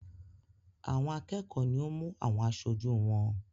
Àwọn akẹ́kọ̀ọ́ ni ó mú àwọn aṣojú wọn.